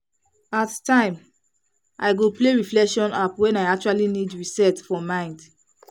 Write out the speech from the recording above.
at time i go play reflection app when i actually need reset for mind.